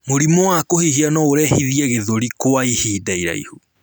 Mũrimũ wa kuhihia nourehithie gĩthũri kwa ahinda iraihu